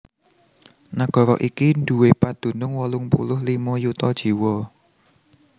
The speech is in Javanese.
Nagara iki duwé padunung wolung puluh limo yuta jiwa